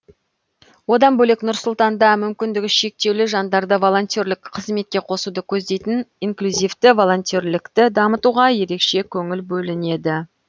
одан бөлек нұр сұлтанда мүмкіндігі шектеулі жандарды волонтерлік қызметке қосуды көздейтін инклюзивті волонтерлікті дамытуға ерекше көңіл бөлінеді